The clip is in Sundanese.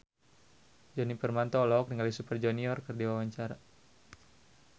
Djoni Permato olohok ningali Super Junior keur diwawancara